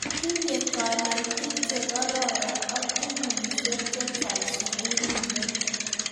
Tinye kanetik che kororon ak pukuisyek chechang' sukulit nyo